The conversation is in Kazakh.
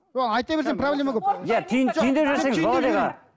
ол айта берсең проблема көп